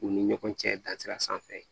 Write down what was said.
U ni ɲɔgɔn cɛ dansa ye